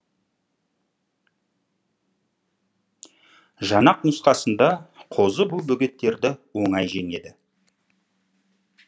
жанақ нұсқасында қозы бұл бөгеттерді оңай жеңеді